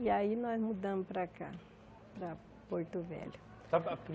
E aí nós mudamos para cá, para Porto Velho. Sa abe hum